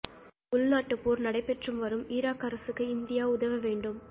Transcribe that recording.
உள்நாட்டுப் போர் நடைபெற்று வரும் ஈராக் அரசுக்கு இந்தியா உதவ வேண்டும்